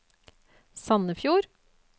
Sandefjord